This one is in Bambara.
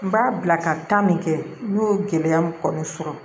N b'a bila ka taa min kɛ n y'o gɛlɛya min kɔni sɔrɔ